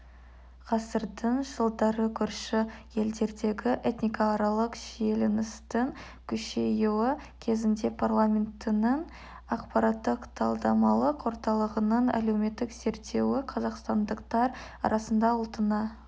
ғасырдың жылдары көрші елдердегі этникааралық шиеленістің күшейюі кезеңінде парламентінің ақпараттық-талдамалық орталығының әлеуметтік зерттеуі қазақстандықтар арасында ұлтына